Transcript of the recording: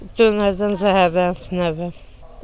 Dönərdən zəhərlənmişəm.